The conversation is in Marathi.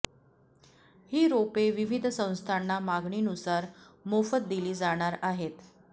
ही रोपे विविध संस्थांना मागणी नुसार मोफत दिली जाणार आहेत